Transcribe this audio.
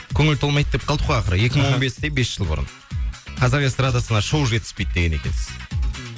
көңіл толмайды деп қалдық қой ақыры екі мың он бесте бес жыл бұрын қазақ эстрадасына шоу жетіспейді деген екенсіз